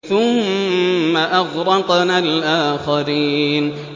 ثُمَّ أَغْرَقْنَا الْآخَرِينَ